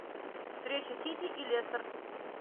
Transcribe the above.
встреча сити и лестер